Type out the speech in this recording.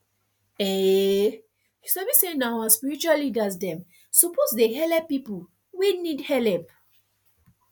um sabi say nah our spiritua leaders dem suppo dey helep pipu wey need helep